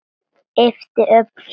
Ypptir öxlum.